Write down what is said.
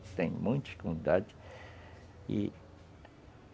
muitas comunidades.